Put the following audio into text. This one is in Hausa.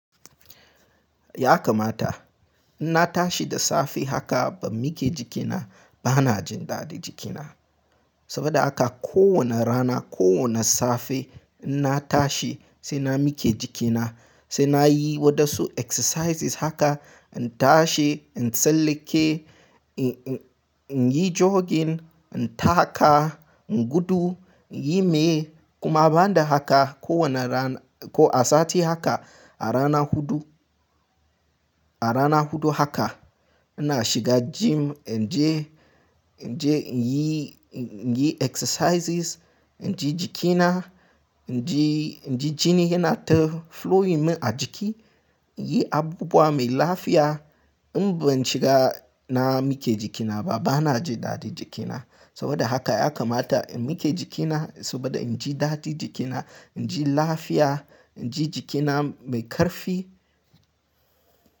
Ya kamata in na tashi da safe haka ban mike jikina ba, bana jin dadi jikina. Saboda haka kowane rana, kowane safe in na tashi sai na mike jikina, sai na yi waɗansu exercises haka, in tashi, in tsallake, in yi jogging, in taka, in gudu, in yi mai. Kuma banda haka, kowane rana ko a sati haka, a rana hudu, a rana hudu haka ina shiga gym in je, in je in yi, in yi exercises, in ji jikina, in ji, in ji jini yana ta flowing min a jiki, in yi abubuwa mai lafiya. In ban shiga na mike jikina ba, bana jin dadi jikina. Saboda haka ya kamata in mike jikina saboda in ji dadi jikina, in ji lafiya, in ji jikina mai ƙarfi.